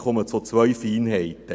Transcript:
Ich komme zu zwei Feinheiten.